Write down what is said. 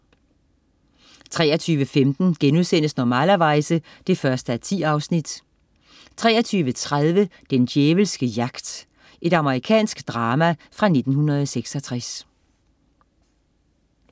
23.15 Normalerweize 1:10* 23.30 Den djævelske jagt. Amerikansk drama fra 1966